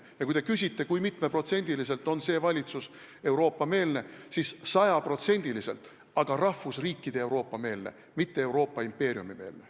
Kui te küsite, kui mitu protsenti on see valitsus Euroopa-meelne, siis 100%, aga ta on rahvusriikide Euroopa meelne, mitte Euroopa impeeriumi meelne.